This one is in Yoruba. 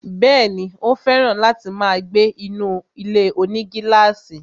Bẹ́ẹ̀ni, ó fẹ̀ràn láti máa gbé inú ilé-onígílàsì